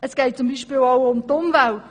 Es geht beispielsweise auch um die Umwelt;